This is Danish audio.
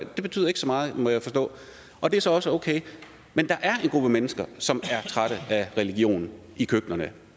betyder ikke så meget må jeg forstå og det er så også okay men der er en gruppe mennesker som er trætte af religion i køkkenerne